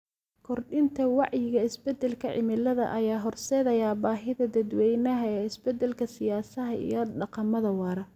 Kordhinta wacyiga isbedelka cimilada ayaa horseedaya baahida dadweynaha ee isbeddelka siyaasadaha iyo dhaqamada waara.